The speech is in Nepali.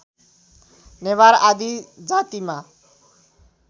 नेवार आदि जातिमा